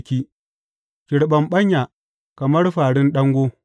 Ki riɓaɓɓanya kamar fāra, ki riɓaɓɓanya kamar fārin ɗango!